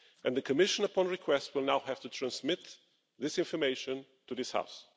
The Commission, upon request, will now have to transmit this information to this House.